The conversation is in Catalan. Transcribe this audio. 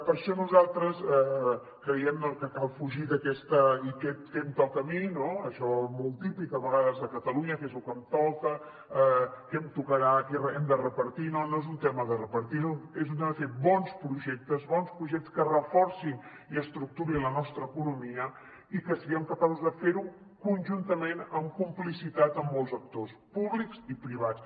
per això nosaltres creiem que cal fugir d’aquest què em toca a mi no això molt típic a vegades a catalunya què és lo que em toca què em tocarà hem de repartir no no és un tema de repartir és un tema de fer bons projectes que reforcin i estructurin la nostra economia i que siguem capaços de fer ho conjuntament amb complicitat amb molts actors públics i privats